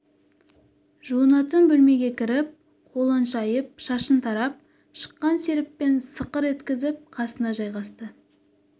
жуынатын бөлмеге кіріп қолын шайып шашын тарап шыққан серіппен сықыр еткізіп қасына жайғасты